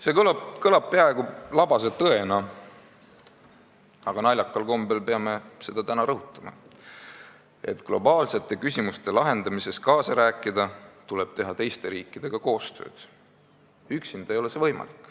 See kõlab peaaegu labase tõena, aga naljakal kombel peame seda täna rõhutama – selleks, et globaalsete küsimuste lahendamises kaasa rääkida, tuleb teha teiste riikidega koostööd, üksinda ei ole see võimalik.